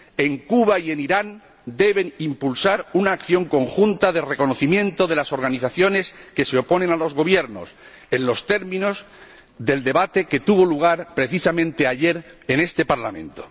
En Cuba y en Irán deben impulsar una acción conjunta de reconocimiento de las organizaciones que se oponen a los gobiernos, en los términos del debate que tuvo lugar precisamente ayer en este Parlamento.